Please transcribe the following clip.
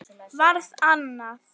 Varð annað.